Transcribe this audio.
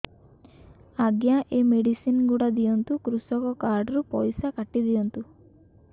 ଆଜ୍ଞା ଏ ମେଡିସିନ ଗୁଡା ଦିଅନ୍ତୁ କୃଷକ କାର୍ଡ ରୁ ପଇସା କାଟିଦିଅନ୍ତୁ